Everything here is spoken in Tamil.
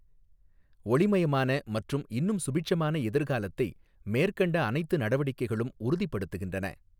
ஓளிமயமான மற்றும் இன்னும் சுபிட்சமான எதிர்காலத்தை மேற்கண்ட அனைத்து நடவடிக்கைகளும் உறுதி படுத்துகின்றன.